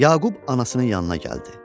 Yaqub anasının yanına gəldi.